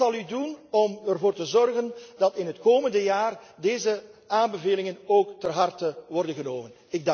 Wat zult u doen om ervoor te zorgen dat in het komende jaar deze aanbevelingen ook ter harte worden genomen?